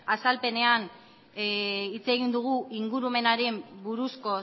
azalpenean hitz egin dugu ingurumenaren buruzko